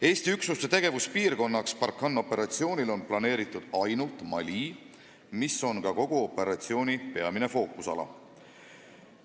Eesti üksuste tegevuspiirkonnaks Barkhane operatsioonil on planeeritud ainult Mali, mis on ka kogu operatsiooni peamine fookusala.